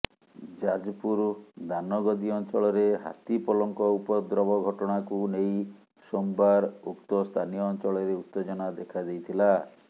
ଯାଜପୁର ଦାନଗଦୀ ଅଞ୍ଚଳରେ ହାତୀପଲଙ୍କ ଉପଦ୍ରବ ଘଟଣାକୁ ନେଇ ସୋମବାର ଉକ୍ତ ସ୍ଥାନୀୟ ଅଞ୍ଚଳରେ ଉତ୍ତେଜନା ଦେଖାଦେଇଥିଲା